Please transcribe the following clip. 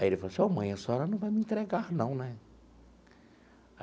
Aí ele falou assim, ó mãe, a senhora não vai me entregar não, né?